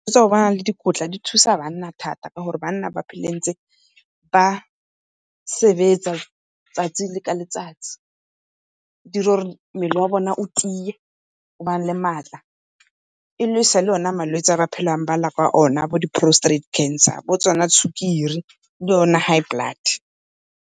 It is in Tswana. tsa go bana le dikotla di thusa banna thata ka gore banna ba phela ntse ba sebetsa 'tsatsi le ka letsatsi. E dire mmele wa bone o tiye o bane le maatla. E lwese malwetsi a ba phelang ba lela ka one bo di-postrate cancer, bo tsona di sukiri le yone high blood.